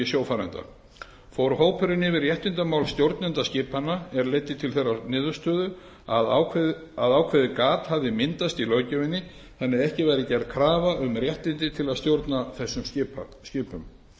sjófarenda fór hópurinn yfir réttindamál stjórnenda skipanna er leiddi til þeirrar niðurstöðu að ákveðið gat hafði myndast í löggjöfinni þannig að ekki væri gerð krafa um réttindi til að stjórna þessum skipum